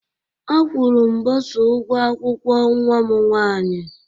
A kwuru m bosa ụgwọ akwụkwọ nwa m nwaanyị